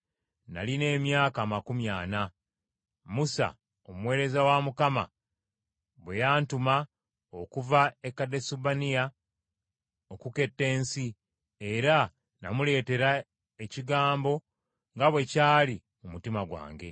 Nalina emyaka amakumi ana, Musa omuweereza wa Mukama bwe yantuma okuva e Kadesubanea okuketta ensi, era namuleteera ekigambo nga bwe kyali mu mutima gwange.